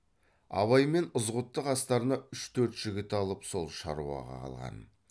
абай мен ызғұтты қастарына үш төрт жігіт алып сол шаруаға қалған